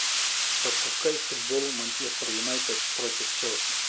запускай футбол манчестер юнайтед против челси